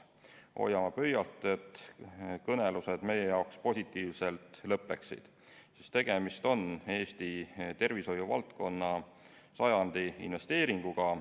Hoiame pöialt, et kõnelused meie jaoks positiivselt lõppeksid, sest tegemist on Eesti tervishoiuvaldkonna sajandi investeeringuga.